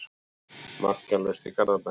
Markalaust í Garðabænum